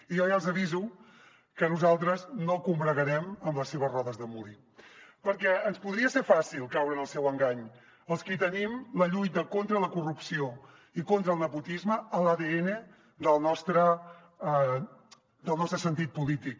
i jo ja els aviso que nosaltres no combregarem amb les seves rodes de molí perquè ens podria ser fàcil caure en el seu engany als qui tenim la lluita contra la corrupció i contra el nepotisme a l’adn del nostre sentit polític